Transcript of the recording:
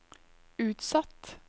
utsatt